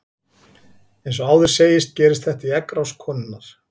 Eins og áður segir gerist þetta í eggrás konunnar.